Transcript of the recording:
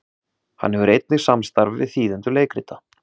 hann hefur einnig samstarf við þýðendur leikrita